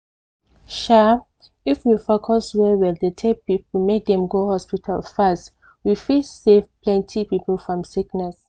um if we focus well well dey tell people make dem go hospital fast we fit save plenty people from sickness.